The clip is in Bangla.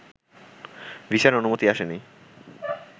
ভিসার অনুমতি আসেনি